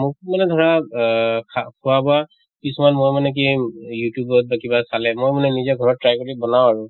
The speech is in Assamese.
মোক মানে ধৰা অহ খা খোৱা বোৱা কিছুমান মই মানে কি youtube ত বা কিবাত চালে মই মানে নিজে ঘৰত try কৰোঁ বনাওঁ আৰু